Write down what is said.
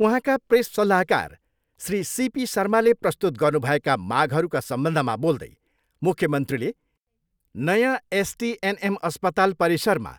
उहाँका प्रेस सल्लाहकार श्री सिपी शर्माले प्रस्तुत गर्नु भएका मागहरूका सम्बन्धमा बोल्दै मुख्यमन्त्रीले नयाँ एसटिएनएम अस्पताल परिसरमा